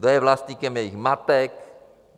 Kdo je vlastníkem jejich matek?